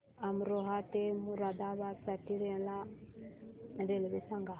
अमरोहा ते मुरादाबाद साठी मला रेल्वे सांगा